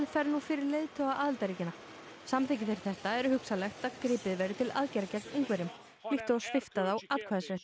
fer nú fyrir leiðtoga aðildarríkjanna samþykki þeir þetta er hugsanlegt að gripið verði til aðgerða gegn Ungverjum líkt og að svipta þá atkvæðisrétti